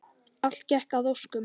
Allt gekk að óskum.